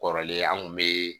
Kɔrɔlen an kun be